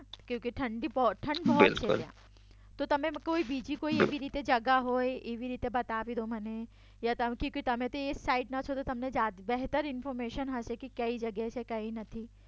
ક્યોંકિ ઠંડ બહુત હે યહાં બિલકુલ તો તમે બીજી કોઈ જગ્યા એવી રીતે જગા હોય તો એવી રીતે બતાવી દો મને યા ક્યોંકિ તમે તો એ સાઈડના જ છો તો બેહતેર ઇન્ફોર્મેશન હશે કે કઈ જગ્યા છે કે કઈ નથી